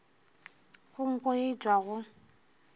go nko ye e tšwago